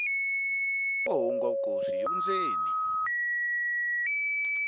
wo hlungwa vukosi hi vundzeni